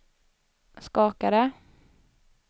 skakade